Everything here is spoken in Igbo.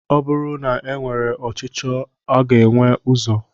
Ọ bụrụ na e nwere ọchicho a ga enwe ụzọ?